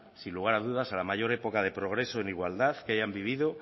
sin lugar a dudas a la mayor época de progreso en igualdad que hayan vivido